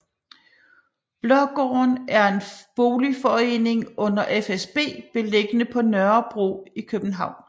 Blågården er en boligforening under fsb beliggende på Nørrebro i København